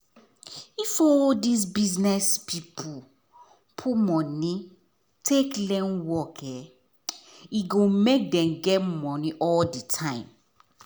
if all these business people put money take learn work e go make dem get money all the time